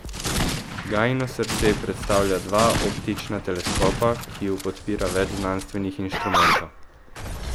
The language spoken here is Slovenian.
Gaino srce predstavljata dva optična teleskopa, ki ju podpira več znanstvenih inštrumentov.